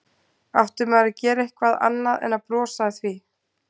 Átti maður að gera eitthvað annað en að brosa að því?